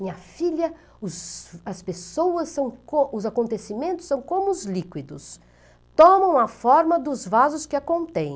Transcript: Minha filha, os as pessoas são co, os acontecimentos são como os líquidos, tomam a forma dos vasos que a contém.